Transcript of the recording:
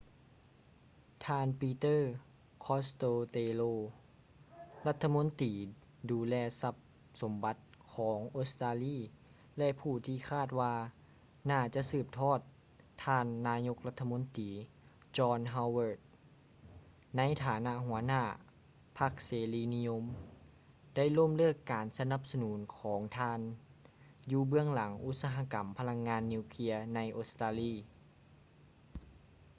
ທ່ານ ປີເຕີ ຄອດສະເຕໂລ peter costello ລັດຖະມົນຕີດູແລຊັບສົມບັດ ຂອງອົດສະຕາລີ ແລະ ຜູ້ທີ່ຄາດວ່າໜ້າຈະສືບທອດ ທ່ານນາຍົກລັດຖະມົນຕີ ຈອນ ຮາວເວີດ john howard ໃນຖານະຫົວໜ້າພັກເສລີນິຍົມ ໄດ້ລົ້ມເລີກການສະໜັບສະໜູນຂອງທ່ານ ຢູ່ເບື້ອງຫຼັງອຸດສະຫະກຳພະລັງງານນິວເຄຼຍໃນອົດສະຕາລີ